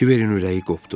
Kiberin ürəyi qopdu.